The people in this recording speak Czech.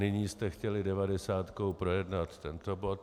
Nyní jste chtěli devadesátkou projednat tento bod.